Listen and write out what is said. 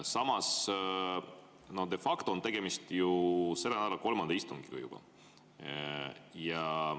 Samas de facto on tegemist juba selle nädala kolmanda istungiga.